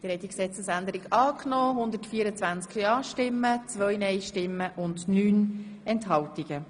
Sie haben die Gesetzesänderung in erster und einziger Lesung angenommen.